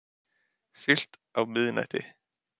Siglt á miðnætti.